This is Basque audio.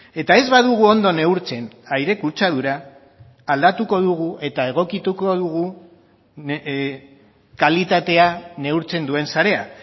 eta ez badugu ondo neurtzen aire kutsadura aldatuko dugu eta egokituko dugu kalitatea neurtzen duen sarea